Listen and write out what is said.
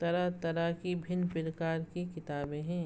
तरह-तरह की भिन्न प्रकार की किताबे हैं।